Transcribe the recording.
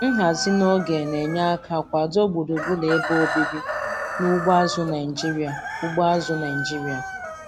Nhazi n'oge na-enye aka kwado gburugburu ebe obibi na ugbo azụ̀ Naịjiria. ugbo azụ̀ Naịjiria.